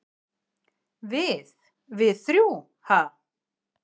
"""Við- við þrjú, ha?"""